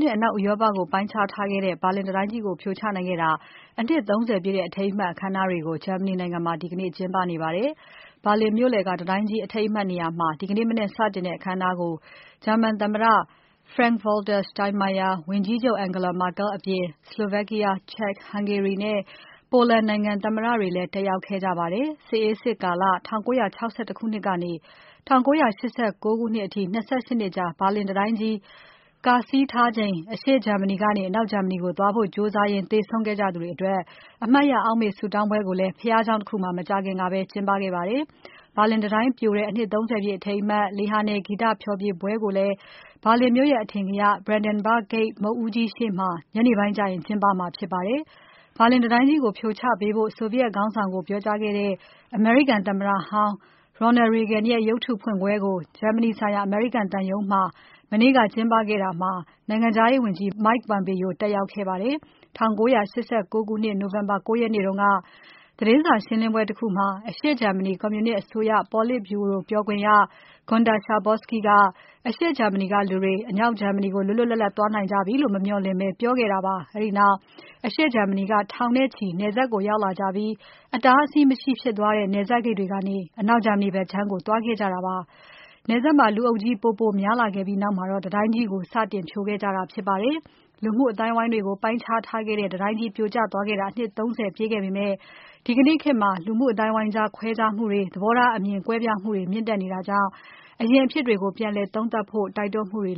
နဲ့ အနောက်ဥရောပကို ပိုင်းခြားထားခဲ့တဲ့ ဘာလင်တံတိုင်းကြီး ပြိုကျခဲ့တဲ့ အနှစ် ၃၀ ပြည့် အထိမ်းအမှတ် အခမ်းအနားတွေကို ဂျာမနီနိုင်ငံမှာ ဒီကနေ့ ကျင်းပနေပါတယ်။ ဘာလင်မြို့လယ်က တံတိုင်းကြီး အထိမ်းအမှတ်နေရာမှာ ဒီနေ့မနက်စတင်တဲ့ အခမ်းအနားကို ဂျာမန်သမ္မတ Frank-Walter Steinmeier၊ ဝန်ကြီးချုပ် Angela Merkel အပြင် Slovakia, Czech, Hungary နဲ့ Poland နိုင်ငံ သမ္မတတွေလည်း တက်ရောက်ခဲ့ကြပါတယ်။ စစ်အေးစစ်ကာလ ၁၉၆၁ ခုနှစ်ကနေ ၁၉၈၉ ခုနှစ်အထိ ၂၈ နှစ်ကြာ ဘာလင်တံတိုင်းကြီး ကာဆီးထားချိန် အရှေ့ဂျာမနီကနေ အနောက်ဂျာမနီကို သွားဖို့ကြိုးစားရင်း သေဆုံးခဲ့ကြသူတွေအတွက် အမှတ်ရ အောက်မေ့ဆုတောင်းပွဲကိုလည်း ဘုရားကျောင်းတခုမှာ မကြာခင်ကပဲ ကျင်းပခဲ့ပါတယ်။ ဘာလင်တံတိုင်းပြိုတဲ့ အနှစ် ၃၀ ပြည့် အထိမ်းအမှတ် လေဟာနယ် ဂီတဖျော်ဖြေပွဲကိုလည်း ဘာလင်မြို့ရဲ့ အထင်ကရ Brandenburg Gate မုခ်ဦးကြီးရှေ့မှာ ညနေပိုင်းကျရင် ကျင်းပမှာဖြစ်ပါတယ်။ ဘာလင်တံတိုင်းကြီးကို ဖြိုချပေးဖို့ ဆိုဗီယက်ခေါင်းဆောင်ကို ပြောကြားခဲ့တဲ့ အမေရိကန်သမ္မတဟောင်း Ronald Reagan ရဲ့ ရုပ်တုဖွင့်ပွဲကို ဂျာမနီဆိုင်ရာ အမေရိကန်သံရုံးမှာ မနေ့က ကျင်းပခဲ့တာမှာ နိုင်ငံခြားရေးဝန်ကြီး Mike Pompeo တက်ရောက်ခဲ့ပါတယ်။ ၁၉၈၉ ခုနှစ် နိုဝင်ဘာ ၉ ရက်နေ့က သတင်းစာရှင်းလင်းပွဲတခုမှာ အရှေ့ဂျာမနီ ကွန်မြူနစ်အစိုးရ ပေါလစ်ဗျူရိုပြောခွင့်ရ Guenter Schabowski က အရှေ့ဂျာမနီကလူတွေ အနောက်ဂျာမနီကို လွတ်လွတ်လပ်လပ် သွားနိုင်ကြပြီလို့ မမျှော်လင့်ဘဲ ပြောခဲ့တာပါ။ အဲဒီနောက် အရှေ့ဂျာမနီက ထောင်နဲ့ချီ နယ်စပ်ကို ရောက်လာကြပြီး အတားအဆီးမရှိဖြစ်သွားတဲ့ နယ်စပ်ဂိတ်တွေကနေ အနောက်ဂျာမနီဘက်ခြမ်းကို သွားခဲ့ကြတာပါ။ လူအုပ်ကြီး ပိုပိုများလာပြီးနောက်မှာတော့ တံတိုင်းကြီးကို စတင်ဖြိုခဲ့ကြတာဖြစ်ပါတယ်။ လူမှုအသိုင်းအဝိုင်းတွေကို ပိုင်းခြားထားခဲ့တဲ့ တံတိုင်းကြီး ပြိုကျခဲ့တာ အနှစ် ၃၀ ပြည့်ခဲ့ပေမယ့် ဒီကနေ့ခေတ်မှာ လူမှုအသိုင်းအဝိုင်းကြား ခွဲခြားမှုတွေ၊ သဘောထားအမြင်တွေ၊ ကွဲပြားမှုတွေ မြင့်တက်နေတာကြောင့် အရင်အဖြစ်တွေကို ပြန်သုံးသပ်ဖို့လည်း တိုက်တွန်းမှုတွေ